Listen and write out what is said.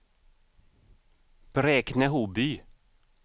Bräkne-Hoby